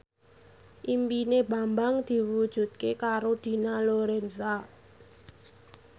impine Bambang diwujudke karo Dina Lorenza